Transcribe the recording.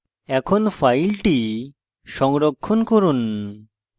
এখন file সংরক্ষণ করুন